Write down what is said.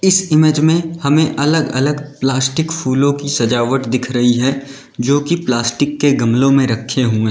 इस इमेज में हमें अलग अलग प्लास्टिक फूलों की सजावट दिख रही है जो कि प्लास्टिक के गमलों में रखे हुए --